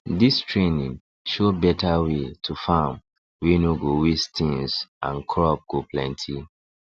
this training show better way to farm wey no go waste things and crop go plenty